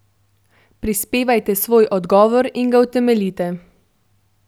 Prispevajte svoj odgovor in ga utemeljite.